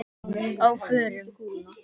Á FÖRUM?